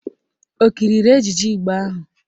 Ọ kiriri ejije Igbo ahụ?